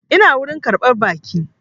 Ina wurin ƙarɓar baƙi